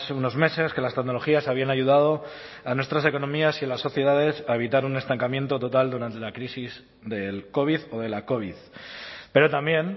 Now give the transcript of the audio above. unos meses que las tecnologías habían ayudado a nuestras economías y a las sociedades a evitar un estancamiento total durante la crisis del covid o de la covid pero también